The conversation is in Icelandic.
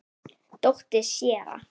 Dóttir séra